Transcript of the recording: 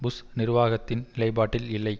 push நிர்வாகத்தின் நிலைப்பாட்டில் இல்லை